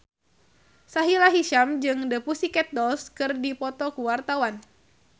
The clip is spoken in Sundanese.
Sahila Hisyam jeung The Pussycat Dolls keur dipoto ku wartawan